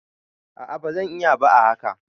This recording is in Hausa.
a a ba zan iya ba a haka